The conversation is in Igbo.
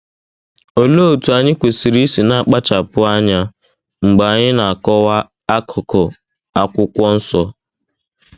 Olee otú anyị kwesịrị isi na-akpachapụ anya mgbe anyị na-akọwa akụkụ Akwụkwọ Nsọ?